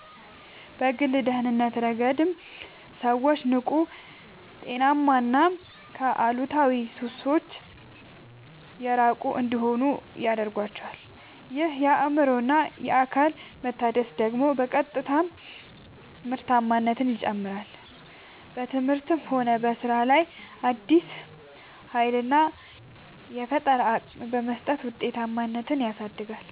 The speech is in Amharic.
በግል ደህንነት ረገድም ሰዎች ንቁ: ጤናማና ከአሉታዊ ሱሶች የራቁ እንዲሆኑ ይረዳቸዋል። ይህ የአእምሮና አካል መታደስ ደግሞ በቀጥታ ምርታማነትን ይጨምራል: በትምህርትም ሆነ በሥራ ላይ አዲስ ኃይልና የፈጠራ አቅም በመስጠት ውጤታማነትን ያሳድጋል።